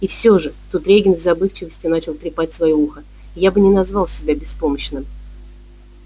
и всё же тут регент в забывчивости начал трепать своё ухо я бы не назвал себя беспомощным